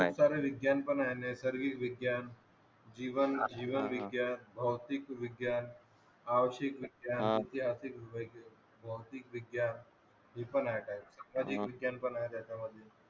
इतर विज्ञान पण आहे नैसर्गिग विज्ञान जीवन विज्ञान भौतिक विज्ञान औषिक विज्ञान ऐतिहासिक विज्ञान भौतिक विज्ञान विज्ञान पण आहे त्याच्या मध्ये